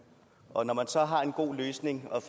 og når man så har en god løsning og